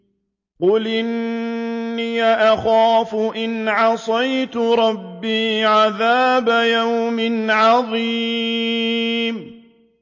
قُلْ إِنِّي أَخَافُ إِنْ عَصَيْتُ رَبِّي عَذَابَ يَوْمٍ عَظِيمٍ